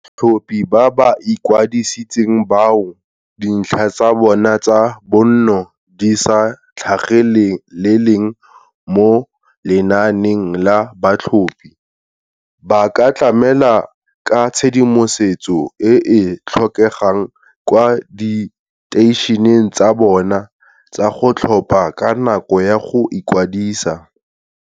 Batlhophi ba ba ikwadisitseng bao dintlha tsa bona tsa bonno di sa tlhageleleng mo lenaaneng la batlhophi, ba ka tlamela ka tshedimosetso e e tlhokegang kwa diteišeneng tsa bona tsa go tlhopha ka nako ya go ikwadisa.